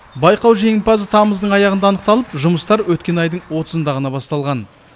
байқау жеңімпазы тамыздың аяғында анықталып жұмыстар өткен айдың отызында ғана басталған